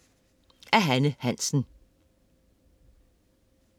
Af Hanne Hansen